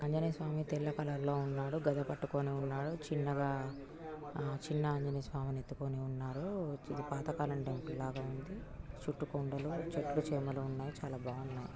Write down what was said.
ఆంజనేయ స్వామి తెల్ల కలర్ లో ఉన్నాడు ఒక గదా పట్టుకొని ఉన్నాడు. చిన్నగా చిన్న ఆంజనేయ స్వామిని ఎత్తుకొని ఉన్నాడు ఇది పాతకాలం టెంపుల్ ల ఉంది. చుట్టు కొండలు చెట్లు చెమలు ఉన్నాయి చాల బాగునాయి.